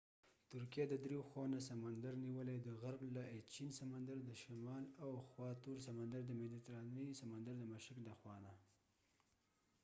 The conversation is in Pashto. ترکېه د درې خواوو نه سمندر نیولی : د ایچېن سمندر aegean sea د غرب له خوا تور سمندر black sea دشمال او د مديترانی سمندرmediterranean sea د مشرق د خوانه